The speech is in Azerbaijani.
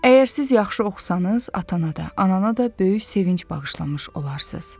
Əgər siz yaxşı oxusanız, atana da, anana da böyük sevinc bağışlamış olarsınız.